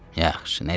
Yaxşı, nə deyirəm?